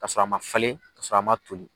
Ka sɔrɔ a ma falen, ka sɔrɔ a ma toli.